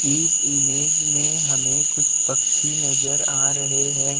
इस इमेज मे हमे कुछ पक्षी नज़र आ रहे हैं।